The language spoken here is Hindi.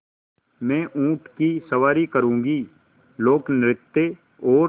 मैं ऊँट की सवारी करूँगी लोकनृत्य और